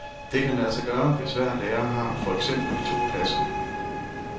Det kan lade sig gøre, hvis hver lærer har for eksempel to klasser.